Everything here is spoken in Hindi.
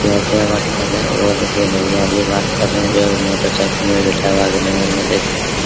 क्या बात कर रहे हैं वो देखिए भईया भी बात कर रहे हैं जो मोटरसाइकिल में बैठे हुआ है गलैमर में देख सकते हैं |